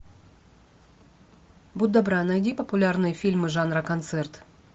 будь добра найди популярные фильмы жанра концерт